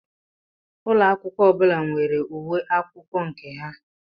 Úlọ akwụkwọ ọbụla nwere uwe akwụkwọ nke ha.